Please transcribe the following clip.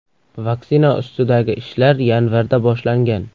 Vaksina ustidagi ishlar yanvarda boshlangan.